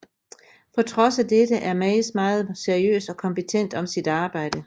På trods af dette er Maes meget seriøs og kompetent om sit arbejde